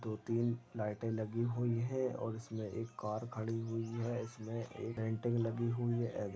दो-तीन लाइटे लगी हुई है और इसमें एक कार खड़ी हुई है इसमें एक पेंटिंग लगी हुई एग।